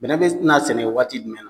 Bɛnɛ be na sɛnɛ waati jumɛn na